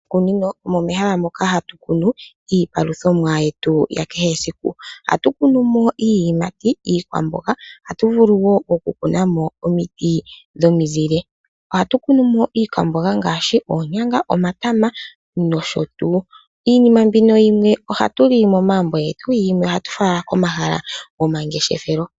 Moshikunino omo mehala moka hatu kunu iipaluthomwa yetu yakehe esiku. Ohatu kunumo iiyimati, iikwamboga ohatu vulu wo oku kunamo omiti dhomizile. Ohatu kunumo iikwamboga ngaashi oonyanga, omatama nosho tuu. Iinima yimwe mbika ohatu li momagumbo getu, yimwe ohatu fala komahala gomangeshefelo.